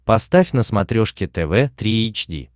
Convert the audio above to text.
поставь на смотрешке тв три эйч ди